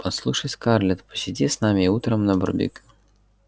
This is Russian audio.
послушай скарлетт посиди с нами и утром на барбекю